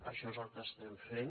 això és el que estem fent